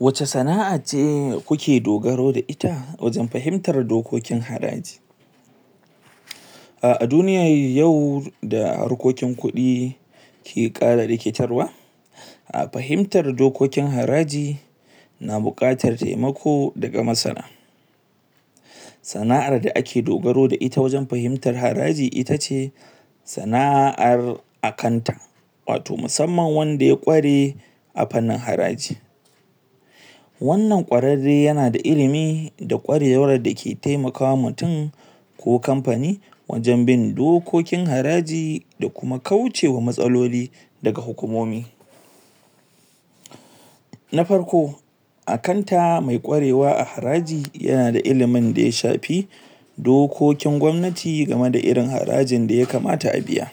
wace sana'a ce kuke dogaro da ita wajen fahimtar dokokin haraji ah a duniyar yau da harkokin kudi ke kara rikitarwa a fahimtar dokokin haraji na bukatar taimako daga masana sana'ar da ake dogaro da ita wajen fahimtar haraji itace sana'ar a kanta wato musamman wanda ya kware a fannin haraji wannan kwararre yana da ilimi da kwarewar dake taimaka ma mutum ko kamfani wajen bin dokokinharaji da kuma kauce ma matsaloli daga hukumomi na farko a kanta mai kwarewa a haraji yana da ilimin daya shafi dokokin gwamnati game da irin harajin daya kamata a biya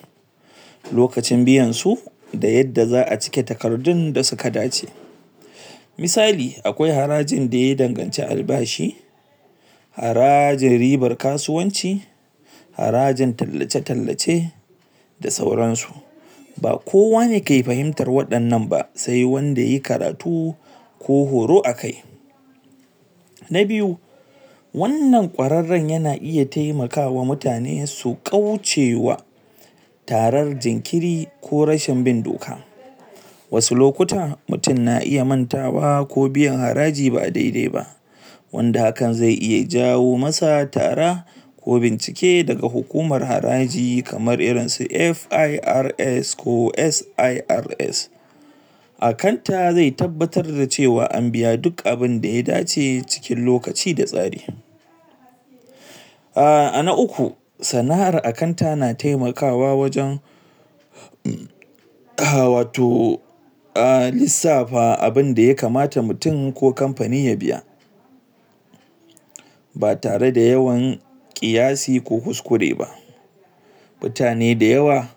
nlokacin biyan su da yadda za'a cike takardun da suka dace misali akwai harajin daya danganci albashi harajin ribar kasuwanci harajin tallace tallace da sauran su ba kowane ke fahimtar wadannan ba sai wanda yayi karatu ko horo akai na biyu wannan kwararren yana iya taimakawa mutane su kauce wa tarar jinkiri ko rashin bin doka wasu lokutan mutum na iya mantawa ko biyan haraji ba dai dai ba wanda hakan zai iya jawo masu tara ko bincike daga hukumar haraji kamar irin su FIRS ko SIRS akanta zai tabbatar da cewa an biya duk abinda ya dace cikin lokaci da tsari ah ana ukku sana'ar akanta na taimakawa wajen ah wato a lissafa abinda ya kamata mutum ko kamfani ya biya ba tare da yawan kiyasi ko kuskure ba mutane da yawa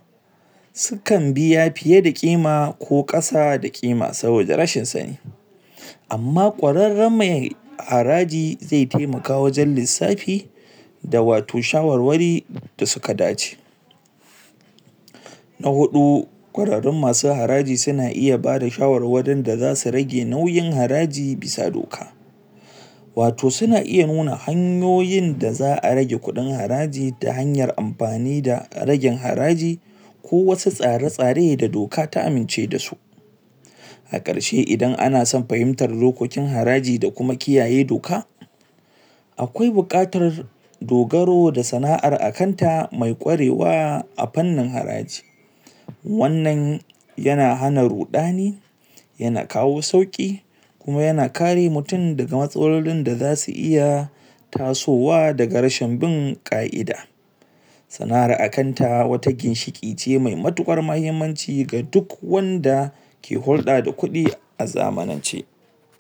sukan biya fiye da kima ko kasa da kima saboda rashin sani amma kwararren me haraji zai taimaka wajen lissafi da wato shawarwari da suka dace na hudu kwararrun masu mahaji suna iya bada shawarwarin da zasu rage nauyin haraji bisa doka wato suna iya nuna hanyoyin da za'a rage kudin haraji ta hanyar amfani da ragin haraji ko wasu tsare tsare da doka ta amince dasu a karshe idan ana son fahimtar dokokin haraji da kuma kiyaye doka akwai bukatar dogaro da sana'ar kanta me kwarewa a fannin haraji wannan yana hana rudani yana kawo sauki kuma yana kar mutum daga matsalolin da zasu iya tasowa daga rashin bin ka'ida sana'ar akanta wata ginshiki ce me matukar muhimmanci ga duk wanda ke hudda da kudi a zamanane